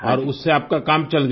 और उससे आपका काम चल गया